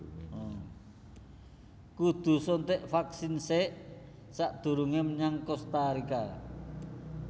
Kudu suntik vaksin sek sakdurunge menyang Kosta Rika